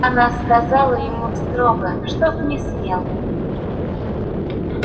она сказала ему строго чтоб не смел